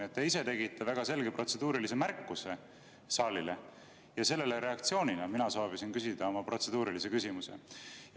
Te ise tegite väga selge protseduurilise märkuse saalile ja reaktsioonina sellele soovisin mina küsida oma protseduurilise küsimuse.